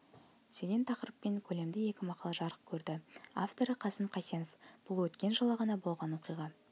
деген тақырыппен көлемді екі мақала жарық көрді авторы қайсым қайсенов бұл өткен жылы ғана болған оқиға